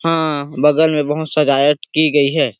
हाँ बगल में बहोत सजायट की गई है।